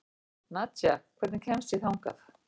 Nadja, hvernig kemst ég þangað?